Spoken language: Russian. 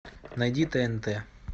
найди тнт